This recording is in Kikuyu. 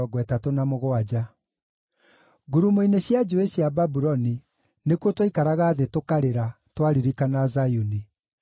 Ngurumo-inĩ cia njũũĩ cia Babuloni nĩkuo twaikaraga thĩ tũkarĩra, twaririkana Zayuni.